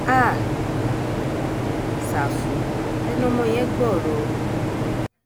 háà um ṣáfù ẹnu ọmọ yẹn gbọrọ o